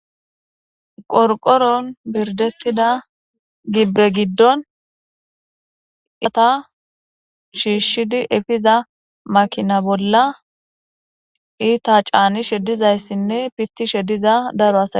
Qorqoron birdetida gibbe gidon urqata shiishidi efiza makina bolla iita caanishe dizayssine pittishe diza daro asay dees.